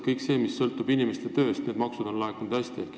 Kõik maksud, mis sõltuvad inimeste tööst, on laekunud hästi.